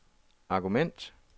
argument